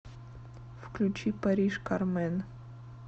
включи париж кармэн